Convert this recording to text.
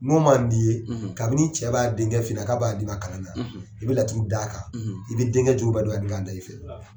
N'o man d'i ye, kabini cɛ b'a denkɛ fi ɲɛna k'a b'a denkɛ d'ima, kala na , i bɛ laturu d a kan, i bɛ denkɛ jogo bɛɛ don da i fɛ